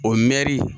O mɛri